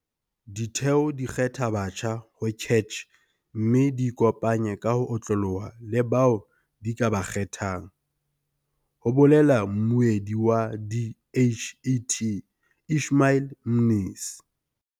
Ditheo di kgetha batjha ho CACH mme di ikopanye ka ho otloloha le bao di ba kgethang, ho bolela mmuedi wa DHET Ishmael Mnisi.